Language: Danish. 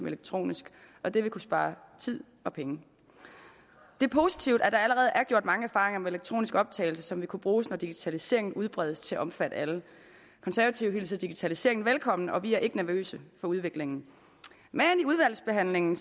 elektronisk og det vil kunne spare tid og penge det er positivt at der allerede er gjort mange erfaringer med elektronisk optagelse som vil kunne bruges når digitaliseringen udbredes til at omfatte alle konservative hilser digitaliseringen velkommen og vi er ikke nervøse for udviklingen men i udvalgsbehandlingen